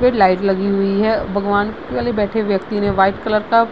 पर लाइट लगी हुई है | भगवान बगल मे बैठे हुए व्यक्ति ने व्हाइट कलर का